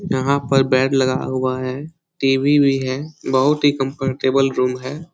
यहाँ पर बेड लगाया हुआ है टी.वी. भी है बहुत ही कम्फ़र्टेबल रूम है।